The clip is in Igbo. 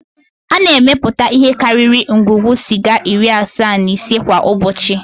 A na-emepụta ihe karịrị ngwugwu sịga iri asaa na ise kwa ụbọchị